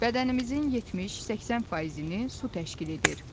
Bədənimizin 70-80%-ni su təşkil edir.